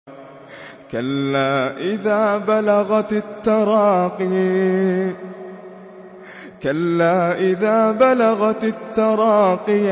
كَلَّا إِذَا بَلَغَتِ التَّرَاقِيَ